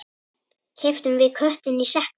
Keyptum við köttinn í sekknum?